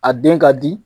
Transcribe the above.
A den ka di